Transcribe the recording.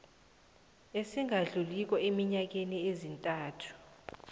esingadluliko eenyangeni ezintathu